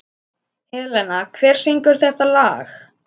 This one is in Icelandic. Helena, hver syngur þetta lag?